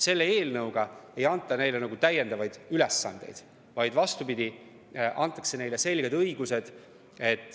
Selle eelnõuga ei anta neile täiendavaid ülesandeid, vaid vastupidi, antakse neile selged õigused.